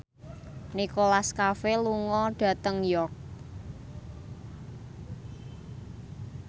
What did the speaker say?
Nicholas Cafe lunga dhateng York